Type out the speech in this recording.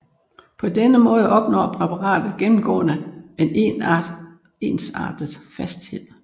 På denne måde opnår præparatet gennemgående en ensartet fasthed